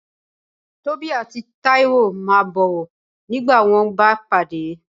Tobí atí Taíwo ma bọ̀wọ́ ngbà wón ba padé